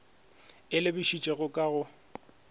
e e lebišitšego ka go